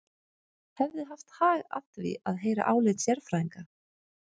Hefði haft hag að því að heyra álit sérfræðinga.